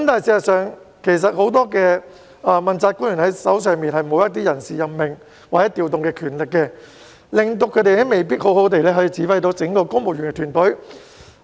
事實上，很多問責官員手上沒有人事任命或調動的權力，以致他們未必可以好好指揮整個公務員團隊。